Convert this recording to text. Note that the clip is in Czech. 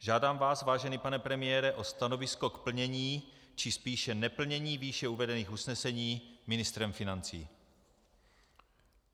Žádám vás, vážený pane premiére, o stanovisko k plnění, či spíše neplnění výše uvedených usnesení ministrem financí.